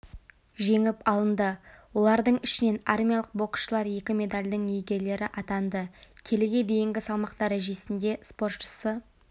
жеңіп алынды олардың ішінен армиялық боксшылар екі медальдің иегерлері атанды келіге дейінгі салмақ дәрежесінде спортшысы